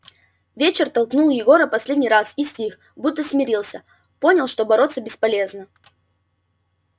вечер толкнул егора последний раз и стих будто смирился понял что бороться бесполезно